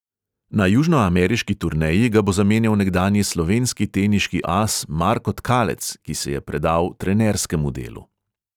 Na južnoameriški turneji ga bo zamenjal nekdanji slovenski teniški as marko tkalec, ki se je predal trenerskemu delu.